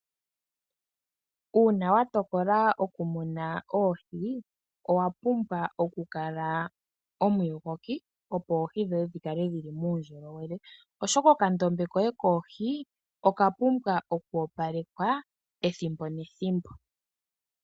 Uuna watokola okumuna oohi owapumbwa okukala omuyogoki , opo dhikale dhili muundjowele , oshoka okandombe koye koohi okapumbwa okukala kayela.